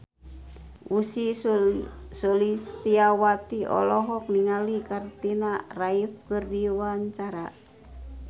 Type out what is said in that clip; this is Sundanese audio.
Ussy Sulistyawati olohok ningali Katrina Kaif keur diwawancara